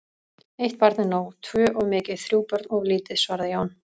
Eitt barn er nóg, tvö of mikið, þrjú börn of lítið, svaraði Jón.